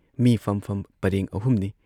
ꯃꯤ ꯐꯝꯐꯝ ꯄꯔꯦꯡ ꯑꯍꯨꯝꯅꯤ ꯫